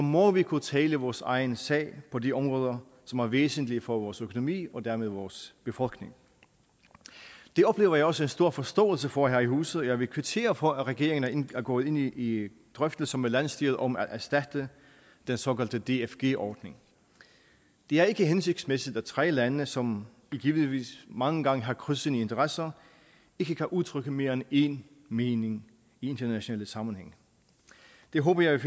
må vi kunne tale vores egen sag på de områder som er væsentlige for vores økonomi og dermed vores befolkning det oplever jeg også en stor forståelse for her i huset og jeg vil kvittere for at regeringen er gået ind i i drøftelser med landsstyret om at erstatte den såkaldte dfg ordning det er ikke hensigtsmæssigt at tre lande som givetvis mange gange har krydsende interesser ikke kan udtrykke mere end én mening i internationale sammenhænge det håber jeg